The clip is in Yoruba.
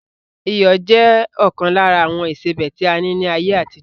Iyọ̀ jẹ ọkan lára àwọn ìsebẹ́ tí a ní ni ayé àtijọ́